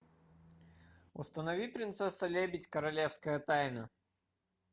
установи принцесса лебедь королевская тайна